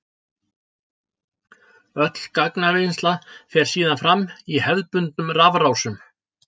Öll gagnavinnsla fer síðan fram í hefðbundnum rafrásum.